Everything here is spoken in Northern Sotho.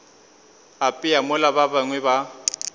apea mola ba bangwe ba